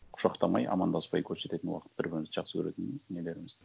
құшақтамай амандаспай көрсететін уақыт бір бірімізді жақсы көретініміз нелеріміз